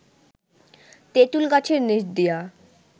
তেঁতুল গাছের নিচ দিয়া